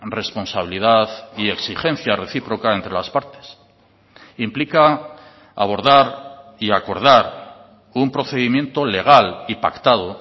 responsabilidad y exigencia recíproca entre las partes implica abordar y acordar un procedimiento legal y pactado